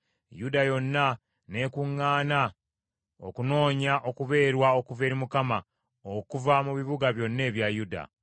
Yuda yonna n’ekuŋŋaana okunoonya okubeerwa okuva eri Mukama okuva mu bibuga byonna ebya Yuda.